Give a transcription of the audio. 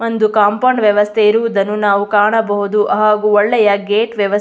ಒಂದು ಕಾಂಪೌಂಡ್ ವ್ಯವಸ್ಥೆ ಇರುವುದನ್ನು ನಾವು ಕಾಣಬಹುದು ಹಾಗು ಒಳ್ಳೆಯ ಗೇಟ್ ವ್ಯವಸ್ಥೆ --